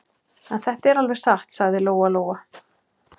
En þetta er alveg satt, sagði Lóa Lóa.